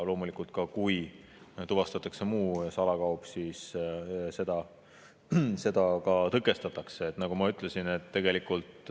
Loomulikult, kui tuvastatakse muu salakaup, siis tõkestatakse, nagu ma ütlesin.